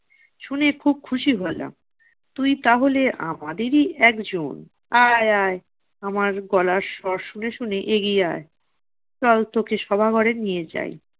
শুনে খুব খুশি হলাম। তুই তাহলে আমাদেরই একজন। আয় আয়, আমার গলার স্বর শুনে শুনে এগিয়ে আয়। চল তোকে সভা ঘরে নিয়ে যাই।